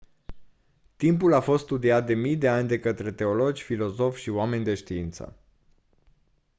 timpul a fost studiat de mii de ani de către teologi filozofi și oameni de știință